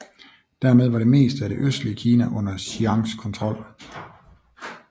Dermed var det meste af det østlige Kina under Chiangs kontrol